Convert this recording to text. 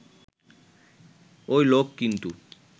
ওই লোক কিন্তু